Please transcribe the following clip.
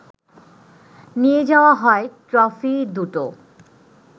নিয়ে যাওয়া হয় ট্রফি দুটো